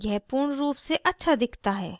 यह पूर्ण रूप से अच्छा दिखता है